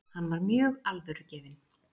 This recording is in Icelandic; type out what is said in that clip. Hann var mjög alvörugefinn.